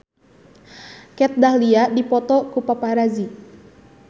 Kat Dahlia dipoto ku paparazi